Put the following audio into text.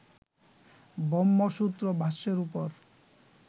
ব্রহ্মসূত্র ভাষ্যের উপর